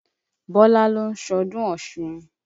Bọ́lá ń lọ sọ́dún Ọ̀ṣun.